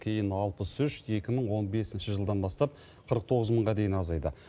кейін алпыс үш екі мың он бесінші жылдан бастап қырық тоғыз мыңға дейін азайды